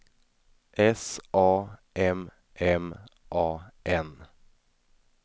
S A M M A N